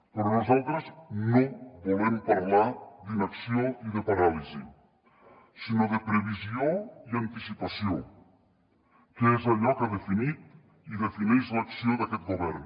però nosaltres no volem parlar d’inacció ni de paràlisi sinó de previsió i anticipació que és allò que ha definit i defineix l’acció d’aquest govern